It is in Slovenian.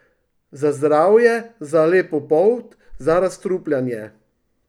Za zdravje, za lepo polt, za razstrupljanje.